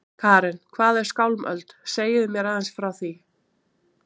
Karen: Hvað er Skálmöld, segið þið mér aðeins frá því?